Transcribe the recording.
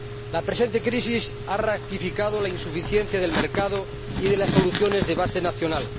La presente crisis ha ratificado la insuficiencia del mercado y de las soluciones de base nacional.